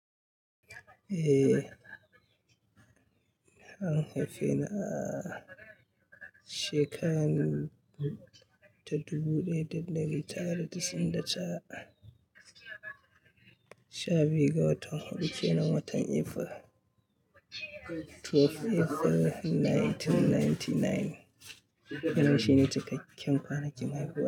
Eh, an haife ni a shekaru ta dubu ɗaya da ɗari tara da tas'in da tara sha biyu ga watan Afrilu, twelve April nineteen ninety nine. Wannan shine cikakken ƙwanakin haihuwa.